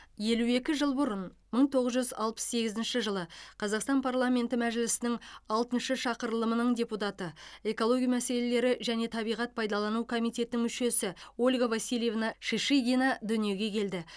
елу екі жылбұрын мың тоғыз жүз алпыс сегізінші жылы қазақстан парламенті мәжілісінің алтыншы шақырылымының депутаты экология мәселелері және табиғат пайдалану комитетінің мүшесіольга васильевна шишигинадүниеге келді